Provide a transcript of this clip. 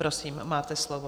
Prosím, máte slovo.